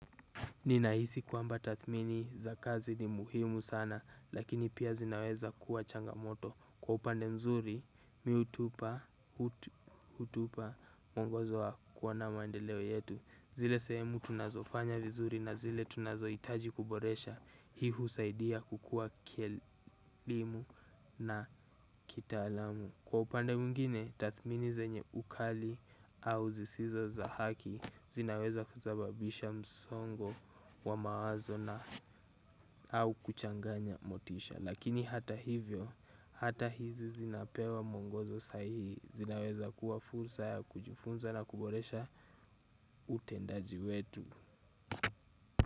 Ninahisi kwamba tathmini za kazi ni muhimu sana lakini pia zinaweza kuwa changamoto. Kwa upande mzuri, mimi hutupa mwongozo wa kuona maendeleo yetu. Zile sehemu tunazofanya vizuri na zile tunazohitaji kuboresha hii husaidia kukua kielimu na kitaalamu. Kwa upande mwingine, tathmini zenye ukali au zisizo za haki zinaweza kusababisha msongo wa mawazo na au kuchanganya motisha. Lakini hata hivyo hata hizi zinapewa mwongozo saihihi zinaweza kuwa fursa ya kujifunza na kuboresha utendaji wetu.